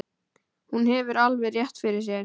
Hún hefur alveg rétt fyrir sér.